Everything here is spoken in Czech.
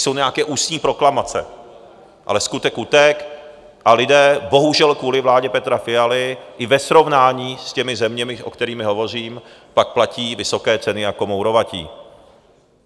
Jsou nějaké ústní proklamace, ale skutek utek a lidé bohužel kvůli vládě Petra Fialy i ve srovnání s těmi zeměmi, o kterých hovořím, pak platí vysoké ceny jako mourovatí.